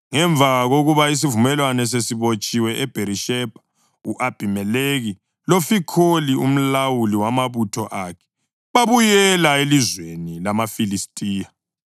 Ngemva kokuba isivumelwano sesibotshiwe eBherishebha, u-Abhimelekhi loFikholi umlawuli wamabutho akhe babuyela elizweni lamaFilistiya.